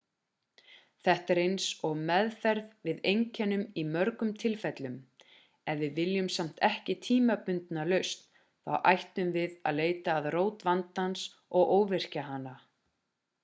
þetta er eins og meðferð við einkennum í mörgum tilfellum ef við viljum samt ekki tímabundna lausn þá ættum við að leita að rót vandans og óvirkja hana